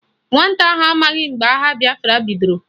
Nwata ahụ amaghị mgbe agha bịafra bidoro